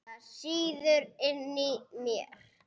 Það sýður inni í mér.